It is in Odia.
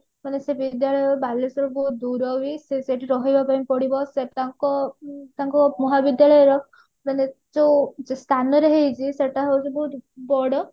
କହିଲା ସେ ବିଦ୍ୟାଳୟ ବାଲେଶ୍ଵର ରୁ ବହୁତ ଦୂର ବି ସେ ସେଠି ରହିବା ପାଇଁ ପଡିବ ସେ ତାଙ୍କ ଉଁ ତାଙ୍କ ମହାବିଦ୍ୟାଳୟ ମାନେ ଯୋଉ ସ୍ଥାନରେ ହେଇଛି ସେଟା ହଉଛି ବହୁତ ବଡ